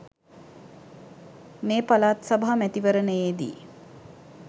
මේ පළාත් සභා මැතිවරණයේදී